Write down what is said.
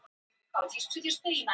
Rafmagnslaust er nú víða á Austurlandi